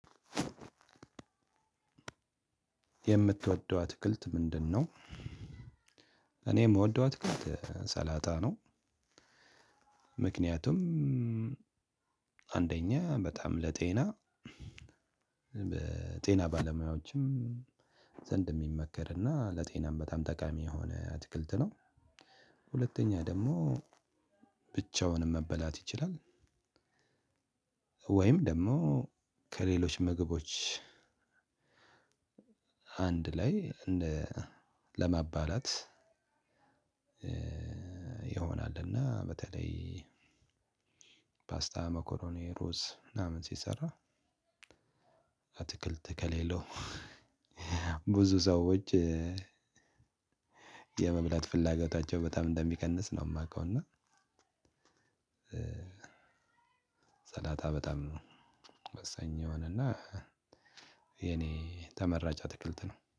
የምትወደዋት አትክልት ምንድነው? እኔ የምወደው አትክልት ሰላጣ ነው። ምክንያቱም አንደኛ በጣም ለጤና በጤና ባለሙያዎችም ዘንድ የሚመከር እና ለጤናም በጣም ጠቃሚ የሆነ አትክልት ነው። ሁለተኛ ደግሞ ብቻውንም መበላት ይችላል። ወይም ደግሞ ከሌሎች ምግቦች አንድ ላይ ለማባላት ይሆናል። እና በተለይ ፓስታ፤ መኮሮኒ፤ ሮዝ ምናምን ሲሰራ አትክልት ከሌለው ብዙ ሰዎች የመብላት ፍላጎታቸው በጣም እንደሚቀንስ ነው የማውቀው። እና ሰላጣ በጣም ነው ወሳኝ የሆነ ና የኔ ተመራጫ አትክልት ነው